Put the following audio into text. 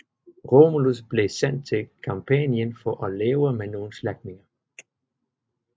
Romulus blev sendt til Campanien for at leve med nogle slægtninge